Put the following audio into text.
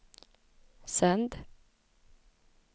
sänd